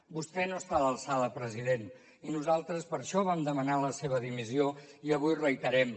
vostè no està a l’alçada president i nosaltres per això vam demanar la seva dimissió i avui la reiterem